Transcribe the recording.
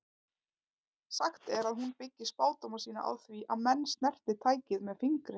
Sagt er að hún byggi spádóma sína á því að menn snerti tækið með fingri.